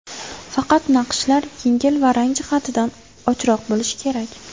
Faqat naqshlar yengil va rang jihatidan ochroq bo‘lishi kerak.